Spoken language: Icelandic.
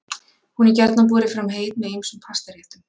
Hún er gjarnan borin fram heit með ýmsum pastaréttum.